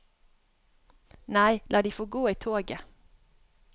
Nei, la de få gå i toget.